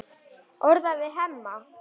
Orðar það við Hemma.